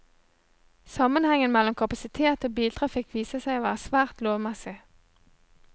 Sammenhengen mellom kapasitet og biltrafikk viser seg å være svært lovmessig.